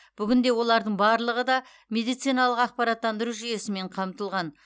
бүгінде олардың барлығы да медициналық ақпараттандыру жүйесімен қамтылған